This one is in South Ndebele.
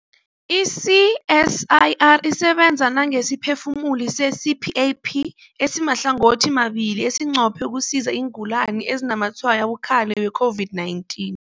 I-CSIR isebenza nangesiphefumulisi se-CPAP esimahlangothimabili esinqophe ukusiza iingulani ezinazamatshwayo abukhali we-COVID-19.